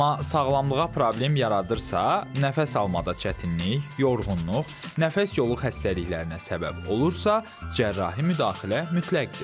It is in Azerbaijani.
Amma sağlamlığa problem yaradırsa, nəfəs almada çətinlik, yorğunluq, nəfəs yolu xəstəliklərinə səbəb olursa, cərrahi müdaxilə mütləqdir.